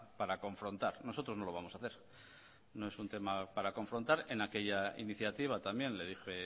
para confrontar nosotros no lo vamos a hacer no es un tema para confrontar en aquella iniciativa también le dije